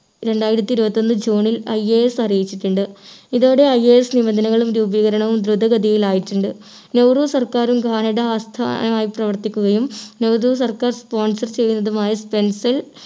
രണ്ടായിരത്തി ഇരുപത്തിയൊന്ന് ജൂണിൽ IAS അറിയിച്ചിട്ടുണ്ട് ഇതോടെ IAS നിബന്ധനകളും രൂപീകരണവും ധ്രുതഗതിയിൽ ആയിട്ടുണ്ട്. നെഹ്‌റു സർക്കാരും കാനഡ ആസ്ഥാനമായി പ്രവർത്തിക്കുകയും നെഹ്‌റു സർക്കാർ sponsor ചെയ്യുന്നതുമായ stencil